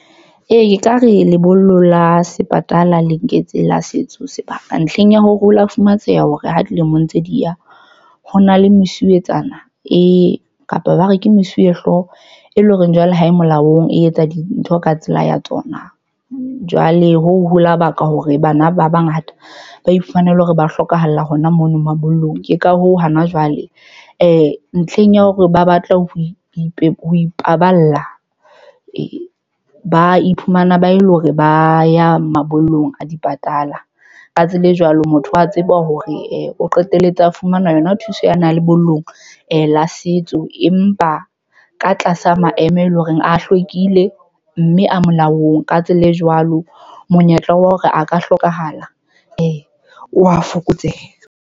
Ee, e ka re lebollo la sepatala le nketse la setso sebaka ntlheng ya ho rula. Fumantsheha hore ha dilemo ntse di ya ho na le mosuwetsana kapa ba re ke mesuwehlooho e leng horeng jwale ha e molaong, e etsa dintho ka tsela ya tsona. Jwale ho hula baka hore bana ba bangata ba ifanele hore ba hlokahalla hona mono mabollong. Ke ka hoo hana jwale I ntlheng ya hore ba batla ho ipaballa, e ba iphumana ba e leng hore ba ya mabollong, a di patala. Ka tsela e jwalo, motho wa tseba hore a qetelletse a fumana yona thuso ya nang lebollong la setso empa ka tlasa maemo eleng horeng a hlwekile mme a molaong. Ka tsela e jwalo, monyetla wa hore a ka hlokahala o wa fokotseha.